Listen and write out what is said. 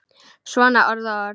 Svona orð og orð.